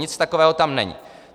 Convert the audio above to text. Nic takového tam není.